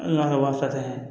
An ka waa fila tɛ